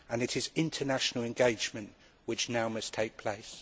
It is international engagement which now must take place.